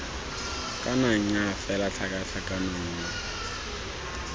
kana nnyaa fela tlhakatlhakano nngwe